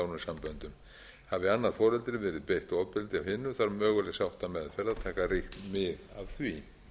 nánum samböndum hafi annað foreldri að vera beitt ofbeldi af hinu þarf möguleg sáttameðferð að taka ríkt mið af því